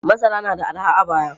Masara nada arha a baya.